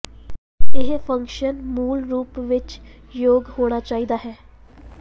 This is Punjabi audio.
ਇਹ ਫੰਕਸ਼ਨ ਮੂਲ ਰੂਪ ਵਿੱਚ ਯੋਗ ਹੋਣਾ ਚਾਹੀਦਾ ਹੈ